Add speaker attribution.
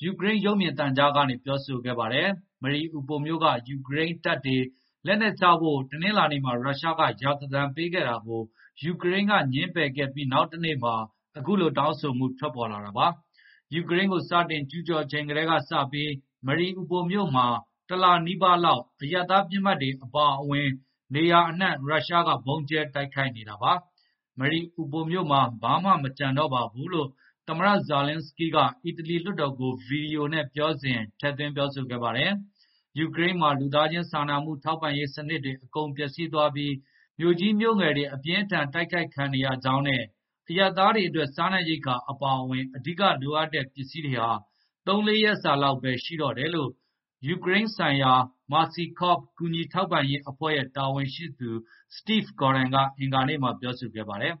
Speaker 1: က ယူကရိန်း ရုပ်မြင်သံကြားကနေ ပြောဆိုခဲ့ပါတယ်။ Mariupol မြို့က ယူကရိန်း တပ်တွေ လက်နက်ချဖို့ တနလာၤနေ့မှာ ရုရှားက ရာဇသံ ပေးခဲ့တာကို ယူကရိန်းက ငြင်းပယ်ခဲ့ပြီး နောက်တနေ့မှာ အခုလို တောင်းဆိုမှု ထွက်ပေါ်လာတာပါ။ ယူကရိန်းကို စတင်ကျူးကျော်ချိန်က စတင်ပြီး Mariupol မြို့မှာ တလနီးပါးလောက် အရပ်သား ပစ်မှတ်တွေ အပါအဝင် နေရာအနှံ့ ရုရှားက ဗုံးကြဲ တိုက်ခိုက်နေတာပါ။ Mariupol မြို့မှာ ဘာမှ မကျန်တော့ဘူးလို့ သမ္မတ Volodymyr Zelenskyy က အီတလီ လွှတ်တော်ကို ဗွီဒီယိုနဲ့ ပြောဆိုစဉ် ထည့်သွင်း ပြောကြားခဲ့ပါတယ်။ ယူကရိန်းမှာ လူသားချင်း စာနာမှု ထောက်ပံ့ရေး စနစ်တွေ အကုန် ပျက်စီးသွားပြီး မြို့ကြီး၊ မြို့ငယ်တွေ အပြင်းအထန် တိုက်ခိုက်ခံနေရကြောင်းနဲ့ အရပ်သားတွေ အတွက် စားနပ်ရိက္ခာ အပါအဝင် အဓိက လိုအပ်တဲ့ ပစ္စည်းတွေဟာ ၃ ရက် - ၄ ရက်စာလောက်ဘဲ ရှိတော့တယ်လို့ ယူကရိန်းဆိုင်ရာ Mercy Corps ကူညီထောက်ပံ့ရေး အဖွဲ့ရဲ့ တာဝန်ရှိသူ Steve Gordon က အင်္ဂါနေ့မှာ ပြောဆိုလိုက်ပါတယ်။